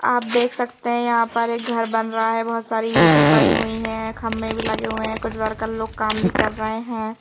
आप देख सकते है यहां पर एक घर बन रहा है। बहोत सारी ईंटे पड़ी हुई है। खंभे भी लगे हुए है। कुछ वर्कर लोग काम भी कर रहे हैं।